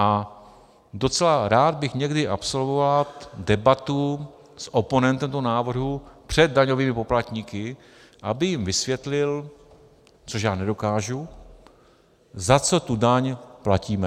A docela rád bych někdy absolvoval debatu s oponentem toho návrhu před daňovými poplatníky, aby jim vysvětlil, což já nedokážu, za co tu daň platíme.